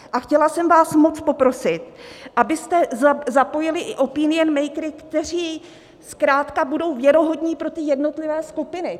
A chtěla jsem vás moc poprosit, abyste zapojili i opinion makery, kteří zkrátka budou věrohodní pro ty jednotlivé skupiny.